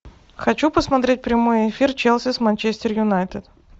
хочу посмотреть прямой эфир челси с манчестер юнайтед